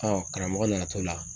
karamɔgɔ nana to la.